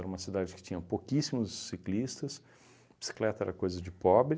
Era uma cidade que tinha pouquíssimos ciclistas, bicicleta era coisa de pobre.